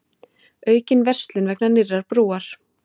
Aukin verslun vegna nýrrar brúar